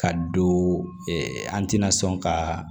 Ka don an tɛna sɔn ka